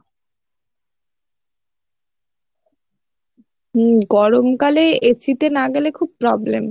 হুম গরম কালে AC তে না গেলে খুব problem